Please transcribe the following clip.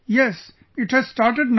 Yes, it has started now